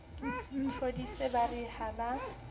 thodise ba re ha ba